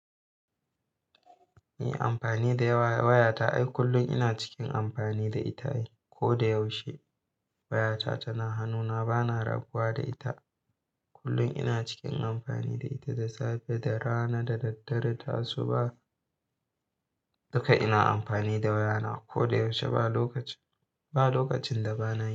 Yin amfani da waya, wayata ai kullum ina cikin amfani da ita. Ko da yaushe wayata tana hanuna, bana rabuwa da ita. Kullum ina cikin amfani da ita, da safe, da rana, da daddare, da asuba duka ina amfani da wayana. Ko da yaushe ba lokacin, ba lokacin da bana yi.